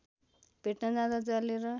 भेट्न जाँदा जलेर